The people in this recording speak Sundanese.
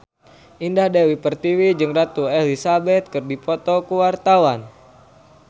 Indah Dewi Pertiwi jeung Ratu Elizabeth keur dipoto ku wartawan